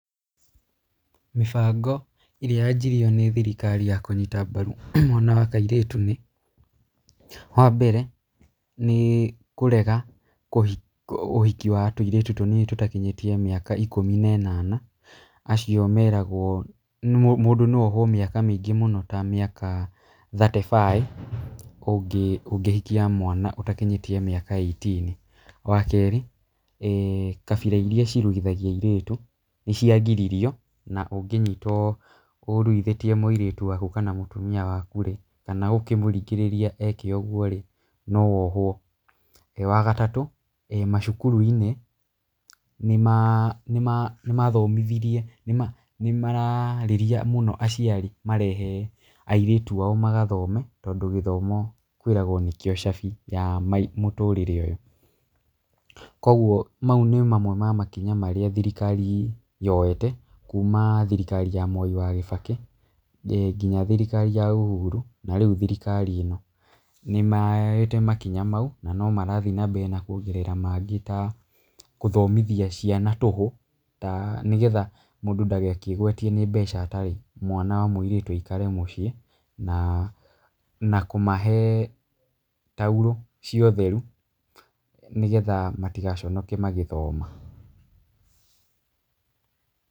Mĩbango ĩrĩa yanjirio nĩ thirikari ya kũnyita mbaru mwana wa kairĩtu nĩ: Wa mbere nĩ kũrega ũhiki wa tũirĩtu tũnini tũtakinyĩtie mĩaka ikũmi na ĩnana. Acio meragwo mũndũ no ohwo mĩaka mĩingĩ mũno ta mĩaka thirty five ũngĩhikia mwana ũtakinyĩtie mĩaka eighteen. Wa kerĩ kabira iria iruithagia airĩtu nĩ ciagiririo na ũngĩnyitwo ũruithĩtie mũirĩtu waku kana mũtumia waku rĩ, kana ũkĩmũringĩrĩria eke ũguo rĩ, no wohwo. Wa gatatũ macukuru-inĩ nĩ maraarĩrĩa mũno aciari marehe airĩtu ao magathome tondũ gĩthomo kwĩragwo nĩkĩo cabi ya mũtũũrĩre ũyũ. Koguo mau nĩ mamwe ma makinya marĩa thirikari yoete kuuma thirikari ya Mwai wa Kĩbakĩ nginya thirikari ya Uhuru na rĩu thirikari ĩno. Nĩ moete makinya mau na no marathiĩ na mbere na kuongerera mangĩ ta gũthomithia ciana tũhũ ta, nĩgetha mũndũ ndagakĩgũatie atĩ nĩ mbeca atarĩ, mwana wa mũirĩtu aikare mũciĩ. Na kũmahe taurũ cia ũtheru nĩgetha matigaconoke magĩthoma.